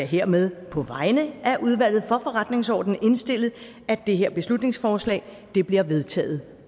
hermed på vegne af udvalget for forretningsordenen indstille at det her beslutningsforslag bliver vedtaget